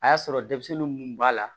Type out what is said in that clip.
A y'a sɔrɔ denmisɛnnin mun b'a la